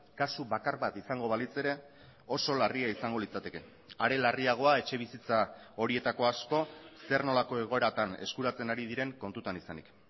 kasu bakar bat izango balitz ere oso larria izango litzateke are larriagoa etxebizitza horietako asko zer nolako egoeratan eskuratzen ari diren kontutan izanik